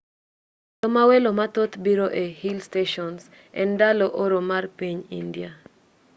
ndalo ma welo mathoth biro e hill stations en ndalo oro mar piny india